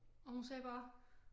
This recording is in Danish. Og hun sagde bare